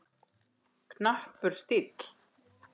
Knappur stíll.